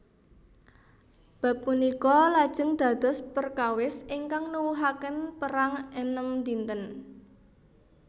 Bab punika lajeng dados perkawis ingkang nuwuhaken Perang Enem Dinten